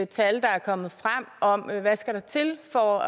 tal der er kommet frem om hvad der skal til for